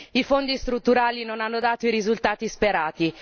I fondi strutturali non hanno dato i risultati sperati.